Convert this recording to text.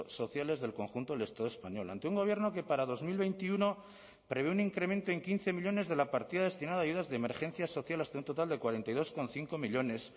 sociales del conjunto del estado español ante un gobierno que para dos mil veintiuno prevé un incremento en quince millónes de la partida destinada a ayudas de emergencia social hasta un total de cuarenta y dos coma cinco millónes